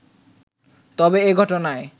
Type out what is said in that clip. তবে এ ঘটনায়